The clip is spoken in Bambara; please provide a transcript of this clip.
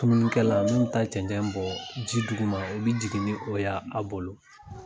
tununikɛla mun bi taa cɛncɛn bɔ ji duguma , o bi jigin ni o ye a bolo.